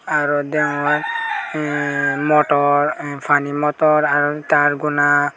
aro degonge emm motor pani motor ar tar bona.